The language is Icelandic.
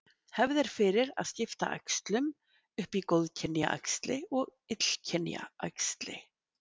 Hefð er fyrir að skipta æxlum upp í góðkynja æxli og illkynja æxli.